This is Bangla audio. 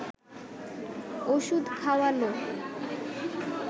ওষুধ খাওয়াল